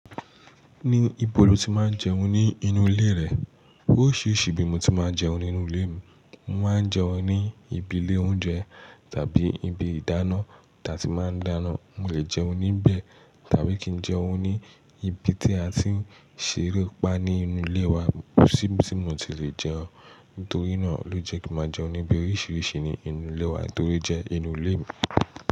Ní ibo lo ti máa ń jẹun ní inú ilé rẹ? Orisirisi ibí mo ti máa ń jẹun nínú ilé mi, mo máa ń jẹun ní ibi ilé oúnjẹ tàbí ibi ìdáná ta ti máa ń dáná, mo lè jẹun níbẹ̀ tàbí kí n jẹun ní ibi tí a ti ń ṣeré pá ní inú ilé wa, ko sì ibí ti mo ti lè jẹun, nítorí náà ló jẹ́ kí máa jẹun níbi oríṣiríṣi ní inú ilé wa nítorí jẹ́ inú ilé mi.